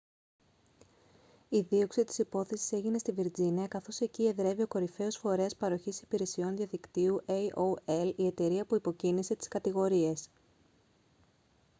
η δίωξη της υπόθεσης έγινε στη βιρτζίνια καθώς εκεί εδρεύει o κορυφαίος φορέας παροχής υπηρεσιών διαδικτύου aol η εταιρεία που υποκίνησε τις κατηγορίες